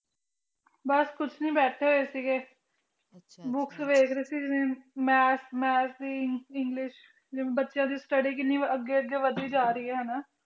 ਬਸ ਕੁਛ ਨਹੀਂ ਬੈਠੇ ਹੋਏ ਸੀਗੇ books ਵੇਖ ਰਹੀ ਸੀ ਜਿਵੇ math math english ਜਿਵੇ ਬਚੀਆ ਦੀ study ਕੀਨੀ ਅਗੇ ਅਗੇ ਵਧੀ ਜਾ ਰਹੇ ਏ ਹੈਨਾ